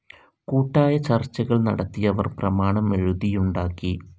കൂട്ടായ ചർച്ചകൾ നടത്തി അവർ പ്രമാണം എഴുതിയുണ്ടാക്കി.